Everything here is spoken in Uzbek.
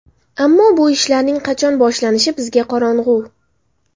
Ammo bu ishlarning qachon boshlanishi bizga qorong‘u”.